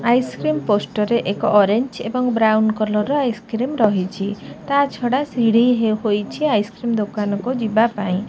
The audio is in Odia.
ଆଇସକ୍ରିମ ପୋଷ୍ଟର ରେ ଏକ ଅରେଞ୍ଜ ଏବଂ ବ୍ରାଉନ କଲର ର ଆଇସକ୍ରିମ ରହିଛି ତାଛଡା ସିଡି ହୋଇଛି ଆଇସକ୍ରିମ ଦୋକାନକୁ ଯିବା ପାଇଁ ---